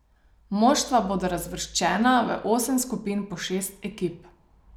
Moštva bodo razvrščena v osem skupin po šest ekip.